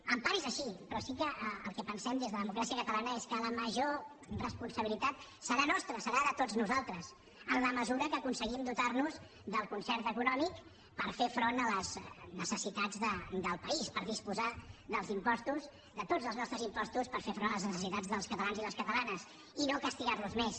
en part és així però sí que el que pensem des de democràcia catalana és que la major responsabilitat serà nostra serà de tots nosaltres en la mesura que aconseguim dotar nos del concert econòmic per fer front a les necessitats del país per disposar dels impostos de tots els nostres impostos per fer front a les necessitats dels catalans i les catalanes i no castigar los més